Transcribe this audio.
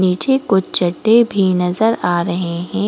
नीचे कुछ चड्डे भी नजर आ रहे हैं ।